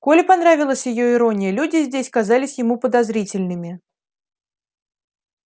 коле понравилась её ирония люди здесь казались ему подозрительными